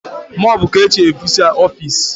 mopu ka eje eficha ofisi